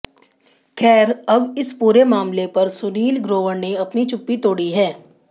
खैर अब इस पूरे मामले पर सुनील ग्रोवर ने अपनी चुप्पी तोड़ी है